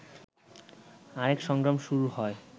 আরেক সংগ্রাম শুরু হয়